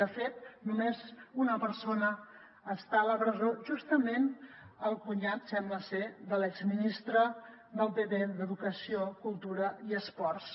de fet només una persona està a la presó justament el cunyat sembla de l’exministre del pp d’educació cultura i esports